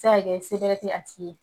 Se ka kɛ sebɛrɛ tɛ a tigi ye.